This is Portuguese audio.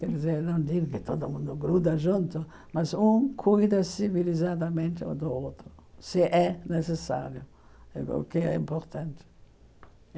Quer dizer, não digo que todo mundo gruda junto, mas um cuida civilizadamente do outro, se é necessário, porque é importante.